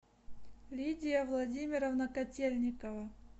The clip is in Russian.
лидия владимировна котельникова